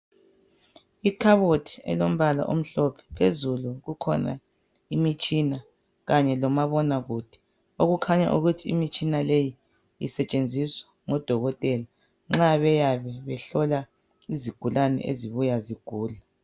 Ikhabothi elombala omhlophe phezulu kukhona imitshina kanye lomabonakude, okukhanya ukuthi imitshina leyi isetshenziswa ngodokotela nxa beyabe behlola izigulane ezibuya zigula.